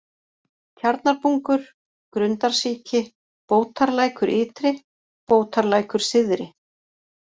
Tjarnarbungur, Grundarsíki, Bótarlækur-Ytri, Bótarlækur-Syðri